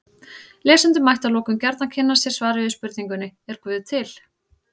Lesendur mættu að lokum gjarnan kynna sér svarið við spurningunni Er guð til?